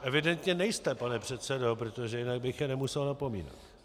Evidentně nejste, pane předsedo, protože jinak bych je nemusel napomínat.